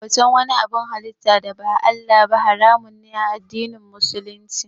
Bautan wani abun halitta da ba Allah ba haramun ne a addinin Musulunci.